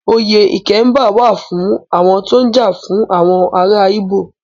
Oyè Ikemba wà á fún àwọn tó ń jà fún àwọn ará Íbò.